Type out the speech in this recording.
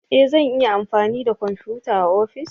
E! zan iya amfani da kwamfuta a ofis.